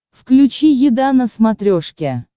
включи еда на смотрешке